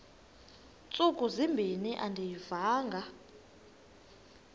ntsuku zimbin andiyivanga